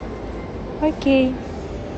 окей